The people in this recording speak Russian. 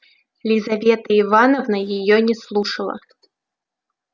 лизавета ивановна её не слушала